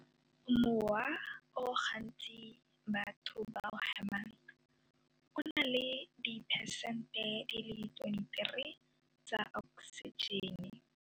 Mowa o gantsi batho ba o hemang o na le diphesente di le 23 tsa oksijene.